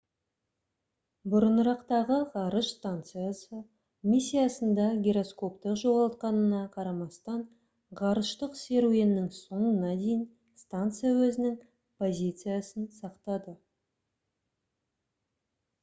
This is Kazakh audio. бұрынырақтағы ғарыш станциясы миссиясында гироскопты жоғалтқанына қарамастан ғарыштық серуеннің соңына дейін станция өзінің позициясын сақтады